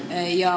Jah.